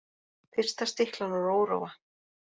Fyrsta stiklan úr Óróa